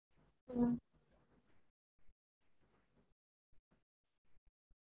அது எனக்கு confirm பண்ணிட்டு சொல்றேன் extra இருந்தாலும் பிரச்சனை இல்ல ஆனா பத்தாமா போககுடாது இல்லயா